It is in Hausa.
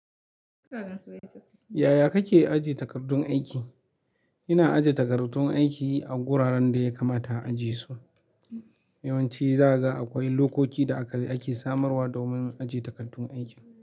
Yaya kake ajiye takardun aiki? Ina ajiye takardun aiki a guraren da ya kamata a ajiye su. Yawanci zagakwai lokoki da aka samarwa domin ajiye takardun aiki.